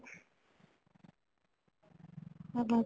ଆଜ୍ଞା